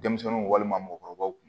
Denmisɛnninw walima mɔgɔkɔrɔbaw kun